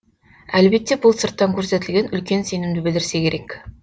әлбетте бұл сырттан көрсетілген үлкен сенімді білдірсе керек